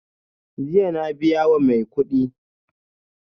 Jiya na biya wa mai kudi